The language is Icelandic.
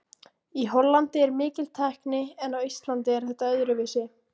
Í Hollandi er mikil tækni en á Íslandi er þetta öðruvísi.